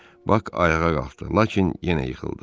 Bak ayağa qalxdı, lakin yenə yıxıldı.